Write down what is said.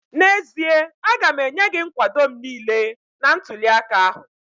N'ezie, aga m enye gị nkwado m niile n'ntụli aka ahụ